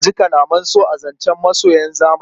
Za a ji kalaman so a zancen masoyan zamani.